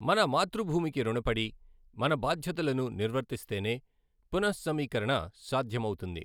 మన మాతృభూమికి రుణపడి, మన బాధ్యతలను నిర్వర్తిస్తేనే పున:సమీకరణ సాధ్యమవుతుంది.